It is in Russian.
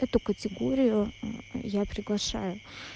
эту категорию я приглашаю